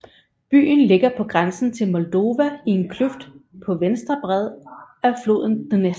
Byen ligger på grænsen til Moldova i en kløft på venstre bred af floden Dnestr